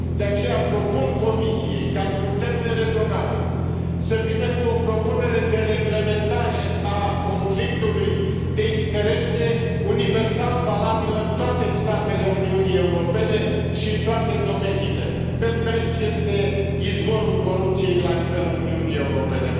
De aceea, propun Comisiei ca, într un termen rezonabil, să vină cu o propunere de reglementare a conflictului de interese, universal valabilă în toate statele Uniunii Europene și în toate domeniile, pentru că aici este izvorul corupției la nivelul Uniunii Europene.